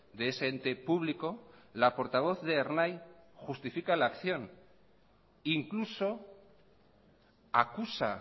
de ese ente público la portavoz de ernai justifica la acción incluso acusa